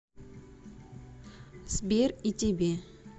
сбер и тебе